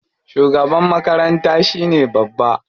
Shugaban makaranta shine babba.